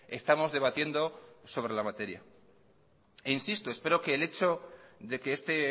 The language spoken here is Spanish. estamos debatiendo sobre la materia insisto espero que el hecho de que este